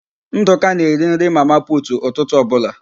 Ndụka na-eri nri mama putu ụtụtụ ọbụla.